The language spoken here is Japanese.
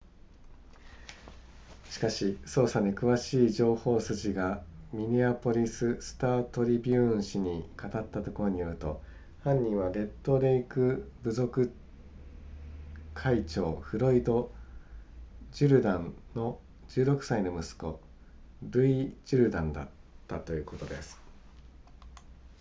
しかし捜査に詳しい情報筋がミネアポリススタートリビューン紙に語ったところによると犯人はレッドレイク部族会長フロイドジュルダンの16歳の息子ルイジュルダンだったということです